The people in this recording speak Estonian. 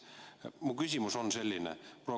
Mu küsimus on selline.